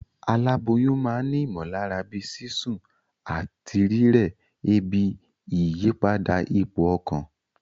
Aláboyún ma n ni ìmòlára bíi sísún àtí rírè, ebi, ìyípadà ipò okàn